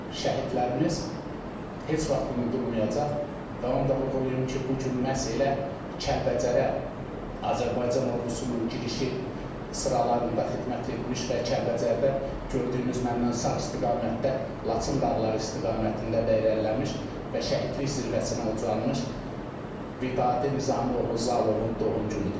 Şəhidlərimiz heç vaxt unudulmayacaq və onu da vurğulayım ki, bu gün məhz elə Kəlbəcərə Azərbaycan ordusunun girişin sıralarında xidmət etmiş və Kəlbəcərdən gördüyünüz məndən sağ istiqamətdə Laçın dağları istiqamətində də irəliləmiş və şəhidlik zirvəsinə ucalmış Vidadi Nizami oğlu Zalovun doğum günüdür.